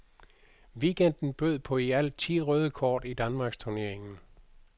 Weekenden bød på i alt ti røde kort i danmarksturneringen.